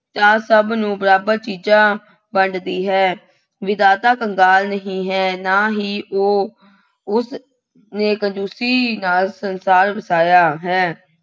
ਨਾਲ ਸਭ ਨੂੰ ਬਰਾਬਰ ਚੀਜ਼ਾਂ ਵੰਡਦੀ ਹੈ। ਵਿਧਾਤਾ ਕੰਗਾਲ ਨਹੀਂ ਹੈ। ਨਾ ਹੀ ਉਹ ਉਸਨੇ ਕੰਜੂਸੀ ਨਾਲ ਸੰਸਾਰ ਉਸਾਰਿਆਂ ਹੈ।